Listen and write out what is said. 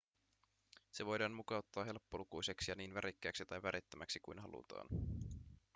se voidaan mukauttaa helppolukuiseksi ja niin värikkääksi tai värittömäksi kuin halutaan